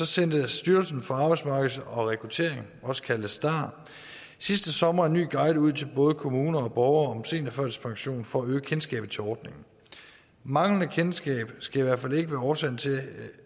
sendte styrelsen for arbejdsmarked og rekruttering også kaldet star sidste sommer en ny guide ud til både kommuner og borgere om seniorførtidspension for at øge kendskabet til ordningen manglende kendskab skal i hvert fald ikke være årsagen til